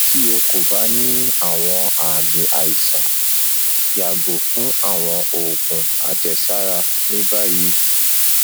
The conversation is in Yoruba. ti o ko ba ni awọn aami aisan yago fun awọn oogun ajesara ni bayi